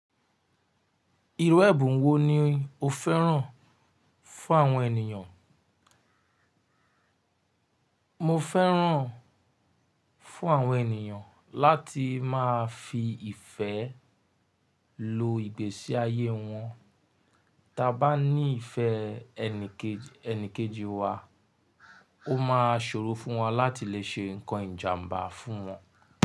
Irú ẹ̀bùn wo ni o fẹ́ràn fún àwọn ènìyàn? Mo fẹ́ràn fún àwọn ènìyàn láti máa fi ìfẹ́ lo ìgbésí ayé wọn. Tí a bá ní ìfẹ́ ẹni kejì wa, ó máa ṣòro fún wa láti lè ṣe nnkan ìjàǹbá fún wọn.